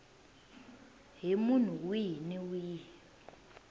hi munhu wihi ni wihi